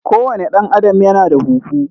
ko wane dan Adam Ya na da huhu.